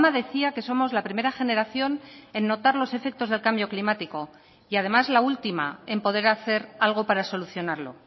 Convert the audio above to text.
decía que somos la primera generación en notar los efectos del cambio climático y además la última en poder hacer algo para solucionarlo